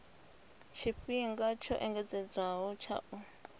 tshifhinga tsho engedzedzwaho tsha u